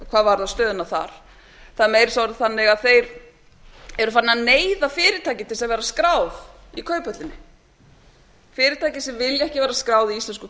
hvað varðar stöðuna þar það er meira að segja orðið þannig að þeir eru farnir að neyða fyrirtæki til að vera á skrá í kauphöllinni fyrirtæki sem vilja ekki vera á skrá í íslensku